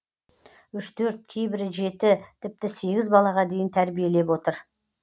үш төрт кейбірі жеті тіпті сегіз балаға дейін тәрбиелеп отыр